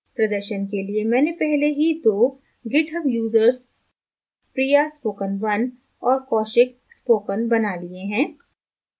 प्रदर्शन के लिए मैंने पहले ही दो github userspriyaspoken1 और kaushikspoken बना लिए हैं